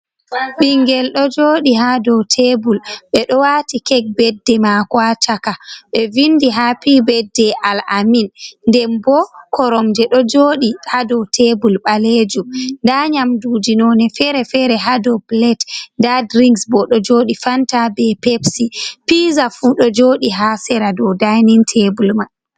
Ɓingel ɗo joɗi ha dow tebul ɓe ɗo wati kek badde mako ha chaka ɓe vindi ha pi-badde al'amin den bo koromje ɗo joɗi hadow tebul ɓalejum da nyamduji none fere-fere hadow pilet nda drinks bo ɗo joɗi fanta be pepsy piza fu ɗo joɗi ha sera dow dainin tebul mai.